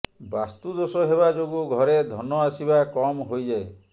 ବାସ୍ତୁ ଦୋଷ ହେବା ଯୋଗୁଁ ଘରେ ଧନ ଆସିବା କମ୍ ହୋଇଯାଏ